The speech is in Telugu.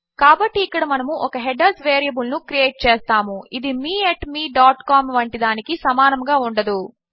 కాబట్టి ఇక్కడ మనము ఒక హెడర్స్ వేరియబుల్ ను క్రియేట్ చేస్తాము ఇది మే mecom వంటి దానికి సమానముగా ఉండదు